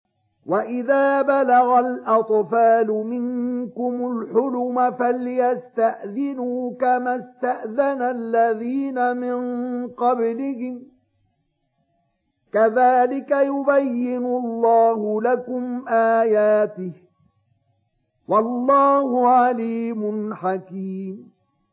وَإِذَا بَلَغَ الْأَطْفَالُ مِنكُمُ الْحُلُمَ فَلْيَسْتَأْذِنُوا كَمَا اسْتَأْذَنَ الَّذِينَ مِن قَبْلِهِمْ ۚ كَذَٰلِكَ يُبَيِّنُ اللَّهُ لَكُمْ آيَاتِهِ ۗ وَاللَّهُ عَلِيمٌ حَكِيمٌ